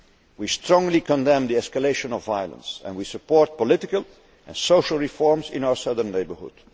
We strongly condemn the escalation of violence and we support political and social reforms in our southern neighbourhood.